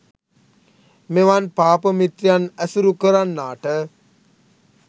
මෙවන් පාප මිත්‍රයන් ඇසුරු කරන්නා ට